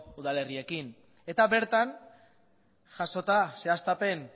udalerriekin eta bertan jasota zehaztapen